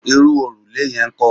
Irú òrùlé yẹn ńkọ́?